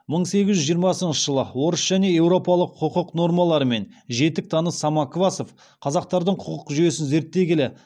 мың сегіз жүз жиырмасыншы жылы орыс және европалық құқық нормаларымен жетік таныс самоквасов қазақтардың құқық жүйесін зерттей келе